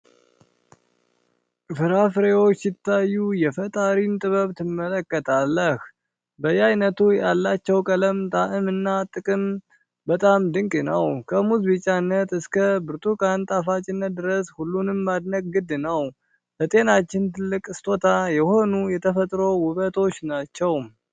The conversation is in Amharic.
ፍራፍሬዎች ሲታዩ የፈጣሪን ጥበብ ትመለከታለህ! በየአይነቱ ያላቸው ቀለም፣ ጣዕም እና ጥቅም በጣም ድንቅ ነው። ከሙዝ ቢጫነት እስከ ብርቱካን ጣፋጭነት ድረስ ሁሉንም ማድነቅ ግድ ነው — ለጤናችን ትልቅ ሥጦታ የሆኑ የተፈጥሮ ውበቶች ናቸው!